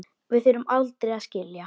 Við þurfum aldrei að skilja.